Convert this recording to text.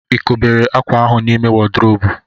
Ị kpọgidere akwa ahụ n'ime wodrobu?